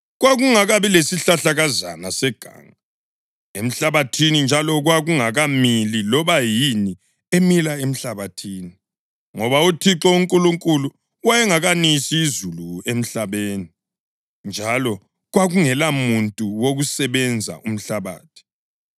Kwakungakabi lesihlahlakazana seganga emhlabathini njalo kungakamili loba yini emila emhlabathini, ngoba uThixo uNkulunkulu wayengakanisi izulu emhlabeni, njalo kwakungelamuntu wokusebenza umhlabathi,